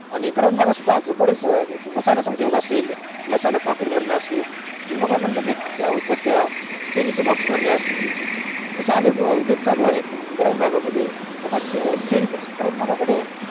ग्रामीण भागात सुद्धा बरेच मसाल्या चे उदोग असेल मसाला packet भरणं असेल तुम्ही काय बोले ते मेणबत्या उदबत्या pen चे box भरणं असेल अशे अनेक उदोग चालू आहेत ग्रामीण बागा मध्ये